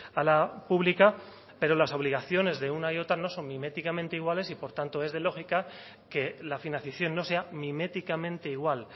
a la pública pero las obligaciones de una y otra no son miméticamente iguales y por tanto es de lógica que la financiación no sea miméticamente igual